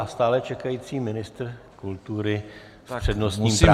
A stále čekající ministr kultury s přednostním právem.